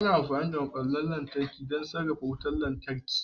Ana amfani da maɓallan lantarki don sarrafa wutar lantarki a cikin da'ira.